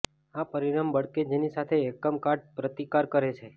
આ પરિમાણ બળ કે જેની સાથે એકમ કાટ પ્રતિકાર કરે છે